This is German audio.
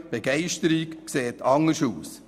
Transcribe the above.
Begeisterung sieht anders aus.